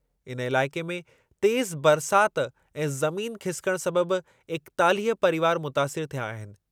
इन इलाइक़े में तेज़ु बरसातु ऐं ज़मीन खिसिकणु सबबि एकेतालीह परीवार मुतासिरु थिया आहिनि।